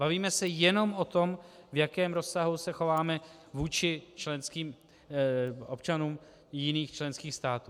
Bavíme se jenom o tom, v jakém rozsahu se chováme vůči členským občanům jiných členských států.